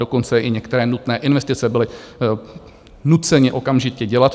Dokonce i některé nutné investice byly nuceny okamžitě dělat.